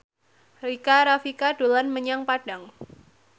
Rika Rafika dolan menyang Padang